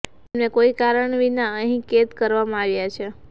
તેમને કોઈ કારણ વિના અહીં કેદ કરવામાં આવ્યા છે